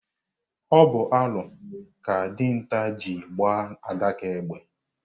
Ọ bụ alo ka dinta ji agba àdáká égbè.